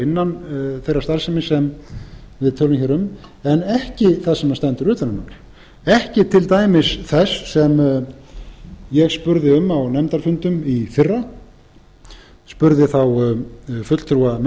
innan þeirrar starfsemi sem við tölum hér en ekki það sem stendur ekki til dæmis þess sem ég spurði um á nefndarfundum í fyrra spurði þá fulltrúa